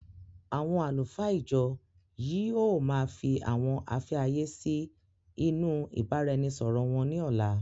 Àwọn àlùfáà ìjọ yìí ó má fii àwọn afẹ́ ayé sì inú ìbáraẹnisọọ̀rọ wón ní ọ̀la.